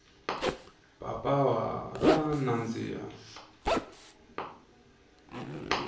papawa ra nandziha